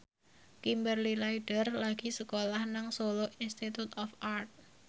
Kimberly Ryder lagi sekolah nang Solo Institute of Art